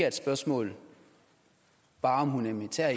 et spørgsmål om humanitær